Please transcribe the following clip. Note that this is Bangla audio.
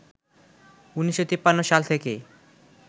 ১৯৫৩ সাল থেকে